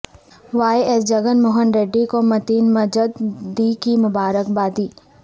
Y S Jagan Mohan Reddy کو متین مجددی کی مبارکبادی